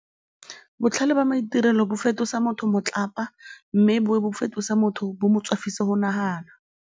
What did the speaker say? Botlhale ba maitirelo bo fetosa motho motlapa mme bo fetose motho bo mo tswafise go nagana.